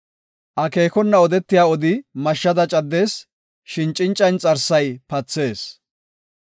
Akeekona odetiya odi mashshada caddees; shin cinca inxarsay pathees.